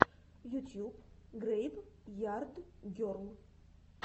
ютьюб грейв ярд герл